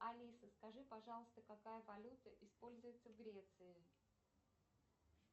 алиса скажи пожалуйста какая валюта используется в греции